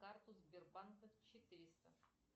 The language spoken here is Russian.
карту сбербанка четыреста